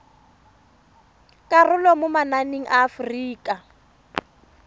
karolo mo mananeng a aforika